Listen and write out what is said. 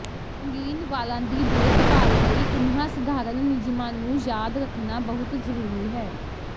ਰੰਗੀਨ ਵਾਲਾਂ ਦੀ ਦੇਖਭਾਲ ਲਈ ਇਨ੍ਹਾਂ ਸਧਾਰਨ ਨਿਯਮਾਂ ਨੂੰ ਯਾਦ ਰੱਖਣਾ ਬਹੁਤ ਜ਼ਰੂਰੀ ਹੈ